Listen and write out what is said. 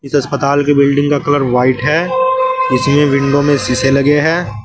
इस अस्पताल के बिल्डिंग का कलर व्हाइट है इसमें विंडो में शीशे लगे हैं।